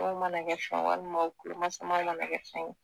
dé mana kɛ fɛn ye walima u kulomasama mana kɛ fɛn